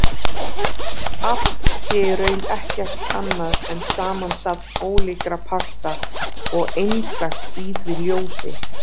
Allt sé í raun ekkert annað en samansafn ólíkra parta og einstakt í því ljósi.